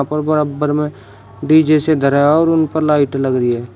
और बराबर में डी_जे से धरा है और उन पर लाइट लग रही है।